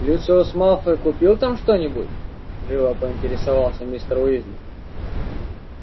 люциус малфой купил там что-нибудь живо поинтересовался мистер уизли